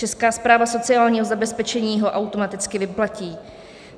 Česká správa sociálního zabezpečení ho automaticky vyplatí.